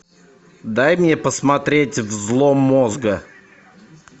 дай мне посмотреть взлом мозга